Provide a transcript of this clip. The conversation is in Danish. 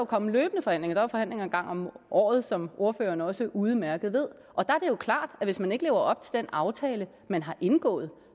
komme løbende forhandlinger der er forhandlinger en gang om året som ordføreren også udmærket ved og der er det jo klart at hvis man ikke lever op til den aftale man har indgået